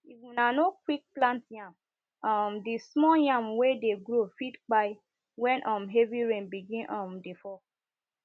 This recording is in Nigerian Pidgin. if una no quick plant yam um the small yam wey dey grow fit kpai when um heavy rain begin um dey fall